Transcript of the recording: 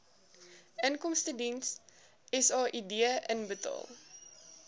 inkomstediens said inbetaal